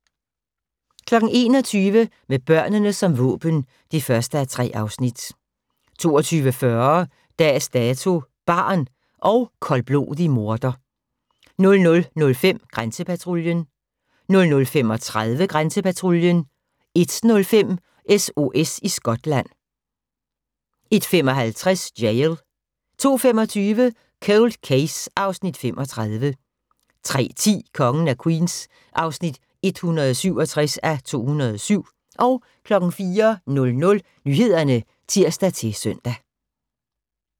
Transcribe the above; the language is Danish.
21:00: Med børnene som våben (1:3) 22:40: Dags Dato: Barn – og koldblodig morder 00:05: Grænsepatruljen 00:35: Grænsepatruljen 01:05: SOS i Skotland 01:55: Jail 02:25: Cold Case (Afs. 35) 03:10: Kongen af Queens (167:207) 04:00: Nyhederne (tir-søn)